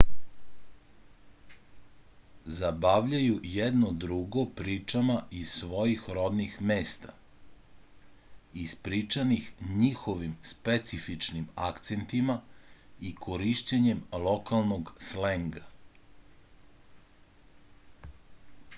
zabavljaju jedno drugo pričama iz svojih rodnih mesta ispričanih njihovim specifičnim akcentima i korišćenjem lokalnog slenga